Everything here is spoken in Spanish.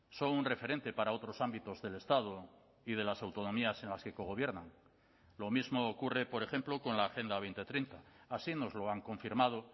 son un referente para otros ámbitos del estado y de las autonomías en las que cogobiernan lo mismo ocurre por ejemplo con la agenda dos mil treinta así nos lo han confirmado